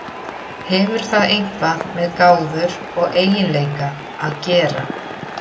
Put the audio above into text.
Hefur það eitthvað með gáfur og eiginleika að gera?